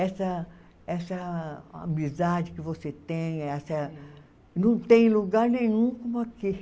Essa essa amizade que você tem, essa não tem lugar nenhum como aqui.